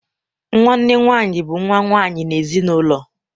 Nwanne nwaanyị bụ nwa nwaanyị n'ime ezinụlọ.